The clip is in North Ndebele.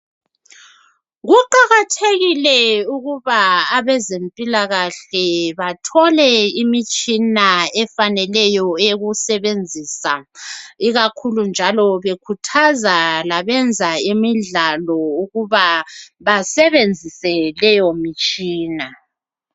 Kuqakathekile ukuba abezempilakahle bathole imitshina efaneleyo eyokusebenzisa ikakhulu bekhuthaza labenza imidlalo ukuba basebenzise leyo mitshina .